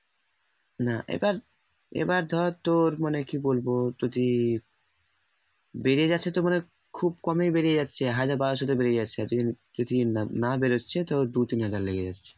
না এবার এবার ধর তোর মানে কি বলব যদি বেড়ে যাচ্ছে তো মানে খুব কমই বেড়ে যাচ্ছে হাজার বারসো বেড়ে যাচ্ছেআর যদি না বেরোচ্ছে তো দু তিন হাজার লেগে যাচ্ছে